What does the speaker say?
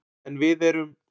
En við erum